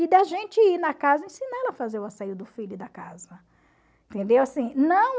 E da gente ir na casa ensinar ela a fazer o asseio do filho e da casa. Entendeu, assim, não